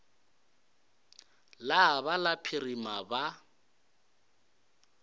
la ba la phirima ba